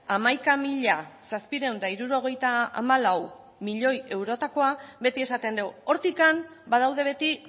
hamaika mila zazpiehun eta hirurogeita hamalau milioi eurotakoa beti esaten dugu hortik badaude beti